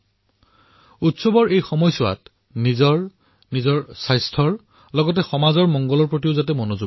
মই আপোনালোক সকলোকে আহ্বান কৰিম এই উৎসৱৰ বতৰত যাতে নিজৰ প্ৰতিও লক্ষ্য ৰাখে নিজৰ স্বাস্থ্যৰ প্ৰতি ধ্যান ৰখাৰ লগতে সমাজৰ হিতৰ প্ৰতিও যাতে লক্ষ্য ৰাখে